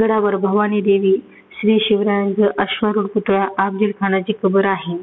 गडावर भवानी देवी श्री शिवरायांचा अश्वरूप पुतळा अफजल खानाची कबर आहे.